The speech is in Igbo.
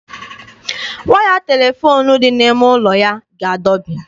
Waya telefoonu dị n'ime ụlọ ya ga-adọbi.